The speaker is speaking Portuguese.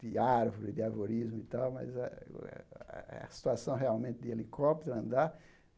de árvore, de arvorismo e tal, mas ah é a situação realmente de helicóptero andar.